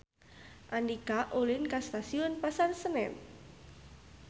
Andika ulin ka Stasiun Pasar Senen